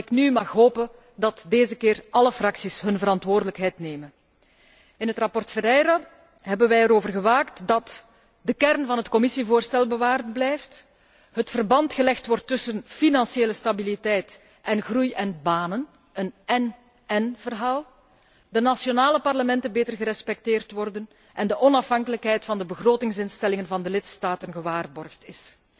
ik mag nu hopen dat deze keer alle fracties hun verantwoordelijkheid nemen. In het verslag Ferreira hebben wij ervoor gewaakt dat de kern van het Commissievoorstel bewaard blijft, het verband gelegd wordt tussen financiële stabiliteit en groei en banen een én én verhaal de nationale parlementen beter gerespecteerd worden en de onafhankelijkheid van de begrotingsinstellingen van de lidstaten gewaarborgd is.